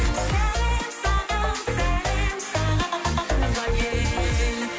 сәлем саған сәлем саған туған ел